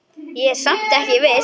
Ég er samt ekki viss.